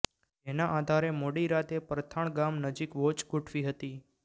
જેના આધારે મોડી રાતે પરથાણ ગામ નજીક વોચ ગોઠવી હતી